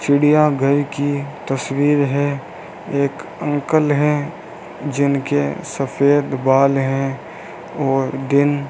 चिड़ियाघर की तस्वीर है एक अंकल है जिनके सफेद बाल हैं व दिन --